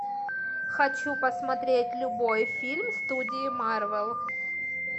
хочу посмотреть любой фильм студии марвел